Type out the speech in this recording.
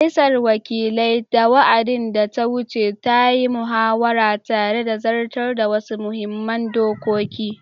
Majalisar Wakilai, a wa’adin da ta wuce, ta yi muhawara tare da zartar da wasu muhimman dokoki